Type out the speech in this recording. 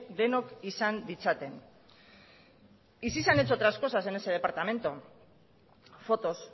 denok izan ditzaten y sí se han hecho otras cosas en ese departamento fotos